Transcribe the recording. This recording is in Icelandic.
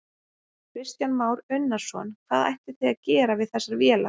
Kristján Már Unnarsson: Hvað ætlið þið að gera við þessar vélar?